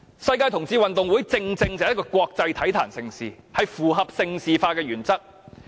世界同志運動會正正是國際體壇盛事，符合盛事化的原則。